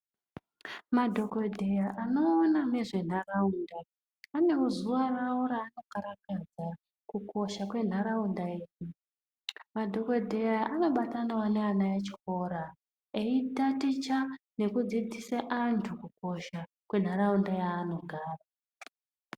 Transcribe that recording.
Madhokodheya anoona nezventaraunda anewo zuwa rawo raanokarakadza kukosha kwentaraunda, madhokodheya anobatanawo neana echikora eitaticha nekudzidzisa antu kukosha kwentaraunda yaanogara.